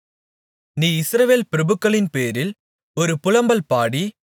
நீ இஸ்ரவேல் பிரபுக்களின்பேரில் ஒரு புலம்பல் பாடி